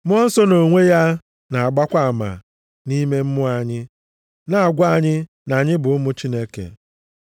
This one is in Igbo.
Mmụọ Nsọ, nʼonwe ya na-agbakwa ama nʼime mmụọ anyị, na-agwa anyị na anyị bụ ụmụ Chineke.